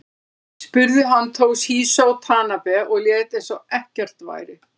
Spruði hann Toshizo Tanabe og lét eins og ekkert væri.